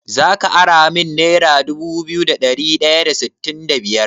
Zaka ara min nera dubu biyu da ɗari ɗaya da sittin da biyar?